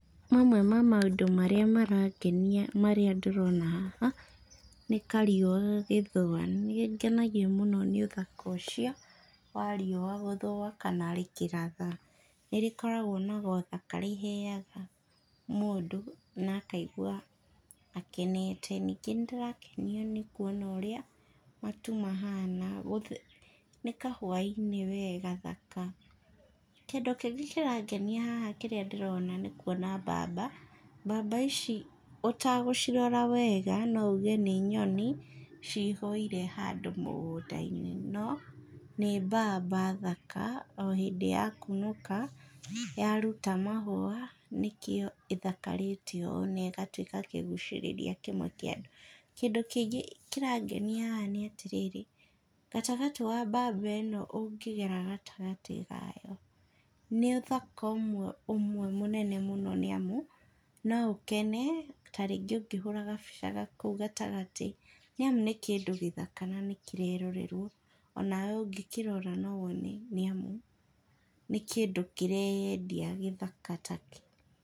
mamwe ma maũndũ marĩa marangenia marĩa ndĩrona haha, nĩ kariũa gagĩthũa, nĩngenagio mũno nĩ ũthaka ũcio, wa riũa gũthũa, kana rĩkĩratha, nĩrĩkoragwo na gothaka rĩheaga mũndũ, nakaigua akenete, ningĩ nĩndĩrakenio nĩ kuona ũrĩa matu mahana gũth nĩ kahwa-inĩ we gathaka, kĩndũ kĩngĩ kĩrangenia haha kĩrĩa ndĩrona nĩ kuona mbamba, mbamba ici ũtagũcirora wega nouge nĩ nyoni cihũire handũ mũgũnda-inĩ, no nĩ mbamba thaka, o hĩndĩ yakunũka, yaruta mahũa nĩkĩo ĩthakarĩte ũũ negatwĩka kĩgucĩrĩria kĩmwe kĩa andũ, kĩndũ kĩngĩ kĩrangenia haha nĩatĩ, gatagatĩ wa mbamba ĩno ũngĩgera gatagatĩ kayo, nĩũthaka ũmwe, ũmwe mũnene mũno nĩamu, noũkene, tarĩngĩ ũngĩhũra gabica ga kũu gatagatĩ , nĩamu nĩ kĩndũ gĩthaka na nĩkĩrerorerwo, onawe ũngĩkĩrora nowone nĩamu, nĩ kĩndũ kĩreyendia gĩthaka takĩ.